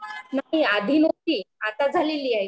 नाही आधी नव्हती आता झालेली आहे